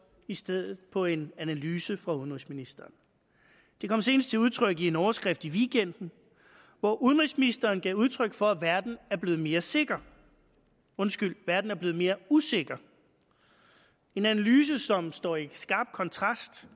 i stedet på en analyse fra udenrigsministeren det kom senest til udtryk i en overskrift i weekenden hvor udenrigsministeren gav udtryk for at verden er blevet mere sikker undskyld verden er blevet mere usikker en analyse som står i skarp kontrast